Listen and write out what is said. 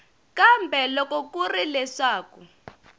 kambe loko ku ri leswaku